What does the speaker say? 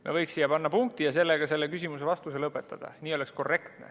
Me võiks siia panna punkti ja sellega selle küsimuse vastuse lõpetada, nii oleks korrektne.